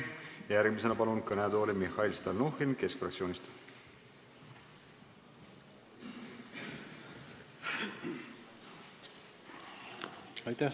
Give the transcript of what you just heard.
Järgmisena palun kõnetooli Mihhail Stalnuhhini Keskerakonna fraktsioonist!